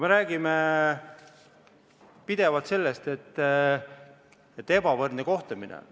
Me räägime pidevalt sellest, et ebavõrdne kohtlemine on.